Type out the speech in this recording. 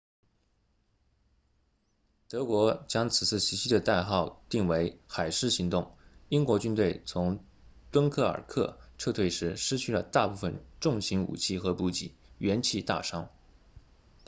德国将此次袭击的代号定为海狮行动英国军队从敦刻尔克撤退时失去了大部分重型武器和补给元气大伤